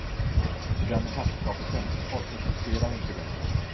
Det där med herrskap och tjänstefolk existerar inte längre.